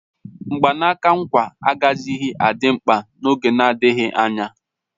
Mgbanaka nkwa agaghịzi adị mkpa n'oge na-adịghị anya